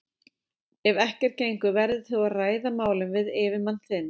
Ef ekkert gengur verður þú að ræða málin við yfirmann þinn.